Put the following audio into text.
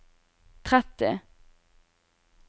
tretti